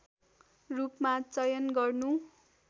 रूपमा चयन गर्नु